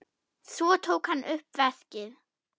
Svo tók hann upp veskið.